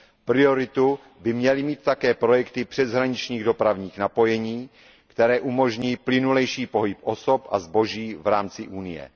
Prioritu by měly mít také projekty přeshraničních dopravních napojení, které umožní plynulejší pohyb osob a zboží v rámci Evropské unie.